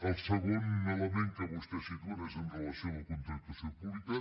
el segon element que vostès situen és amb relació a la contractació pública